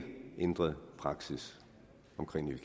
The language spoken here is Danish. er ændret praksis